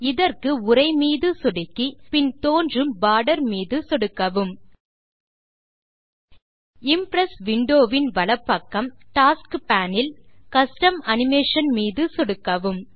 இதற்கு உரை மீது சொடுக்கி பின் தோன்றும் போர்டர் மீது சொடுக்கவும் இம்ப்ரெஸ் விண்டோ வின் வலப்பக்கம் டாஸ்க்ஸ் paneஇல் கஸ்டம் அனிமேஷன் மீது சொடுக்கவும்